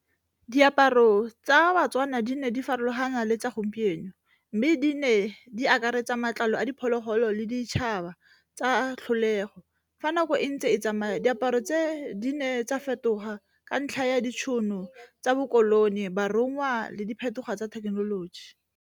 Diaparo tsa baTswana di ne di farologana le tsa gompieno, mme di ne di akaretsa matlalo a diphologolo le ditšhaba tsa tlholego. Fa nako e ntse e tsamaya diaparo tse di ne tsa fetoga ka ntlha ya ditšhono tsa bo koloni, borongwa le diphetogo tsa thekenoloji.